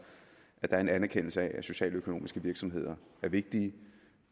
at der er en anerkendelse af at socialøkonomiske virksomheder er vigtige